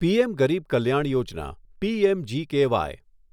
PM Garib Kalyan Yojana PMGKY